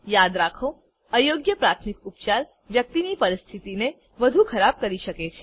યાદ રાખો અયોગ્ય પ્રાથમિક ઉપચાર વ્યક્તિની પરિસ્થિતિને વધુ ખરાબ કરી શકે છે